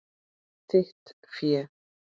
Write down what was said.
Þitt fé.